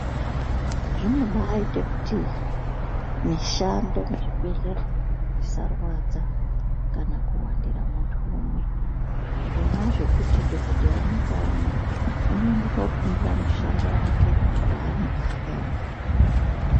Zvinobaite kuti mishando muzvibhedhlera umu isarwadza kana kuwandira muntu umwe. Zvona zvokuti dhogodheya umwe ngaumwe unoende kofundira mushando vake vanenge akaema navo.